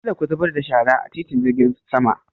Kar ku zubar da shara a titin jirgin sama!